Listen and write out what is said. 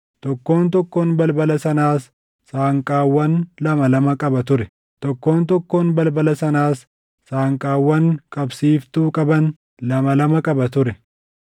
Tokkoon tokkoon balbala sanaas saanqaawwan lama lama qaba ture; tokkoon tokkoon balbala sanaas saanqaawwan qabsiiftuu qaban lama lama qaba ture.